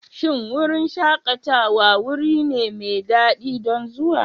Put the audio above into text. Shin wurin shakatawa wuri ne mai daɗi don zuwa?